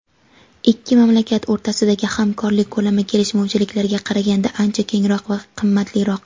Ikki mamlakat o‘rtasidagi hamkorlik ko‘lami kelishmovchiliklarga qaraganda ancha kengroq va qimmatliroq.